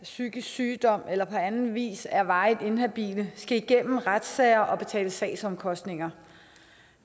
psykisk sygdom eller som på anden vis er varigt inhabile skal igennem retssager og betale sagsomkostninger